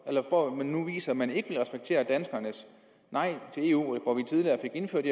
eller for at man nu viser at man ikke vil respektere danskernes nej til eu hvor vi tidligere fik indført